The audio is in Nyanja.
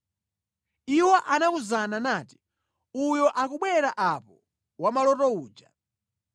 Iwo anawuzana nati, “Uyo akubwera apo wamaloto uja.